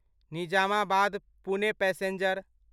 Nizamabad Pune passenger